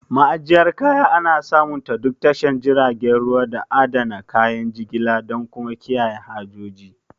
Ma'ajiyyar kaya ana samunta duk tashar jiragen ruwa, don adana kayan jigilar da kuma kiyaye hajoji.